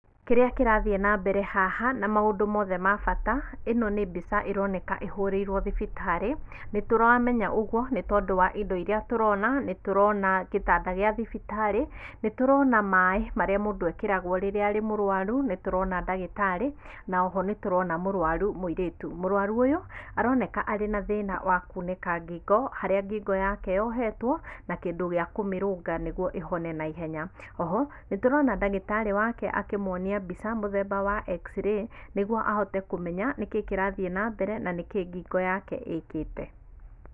Kĩria kĩrathiĩ na mbere haha na maũndũ mothe ma bata ĩno nĩ mbica ĩroneka ĩhũrĩirwe thibitarĩ , nĩtũramenya ũguo tondũ wa indo irĩa tũrona, nĩtũrona gĩtanda kĩa thibitarĩ, nĩtũrona maĩ marĩa mũndũ ekĩrageo rĩrĩa arĩ mũrũaru, nĩtũrona ndagĩtarĩ na oho nĩtũrona mũrũaru mũirĩtu. Mũrũaru ũyũ aroneka arĩ na thĩna wa kũnĩka ngingo harĩa ngingo yake yohetwo na kĩndũ gĩa kũmĩrũnga nĩguo ĩhone na ihenya oho nĩtũrona ndagĩtarĩ wake akĩmwonia mbica, mũthemba wa xray nĩguo ahote kũmenya nĩkĩ kĩrathiĩ na mbere na nĩkĩ ngingo yake ĩkĩte .